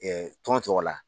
tɔn tɔgɔ la.